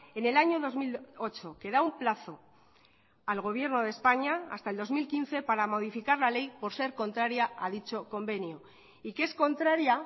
en el año dos mil ocho que da un plazo al gobierno de españa hasta el dos mil quince para modificar la ley por ser contraria a dicho convenio y que es contraria